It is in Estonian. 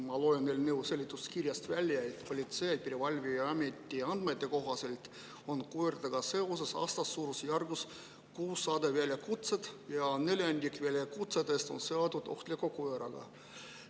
Ma loen eelnõu seletuskirjast välja, et Politsei- ja Piirivalveameti andmete kohaselt on koertega seoses aastas suurusjärgus 600 väljakutset ja neljandik väljakutsetest on saadud seoses ohtliku koeraga.